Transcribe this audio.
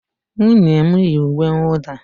Nwunye m yi uwe nwụda